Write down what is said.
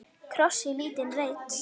Kross í lítinn reit.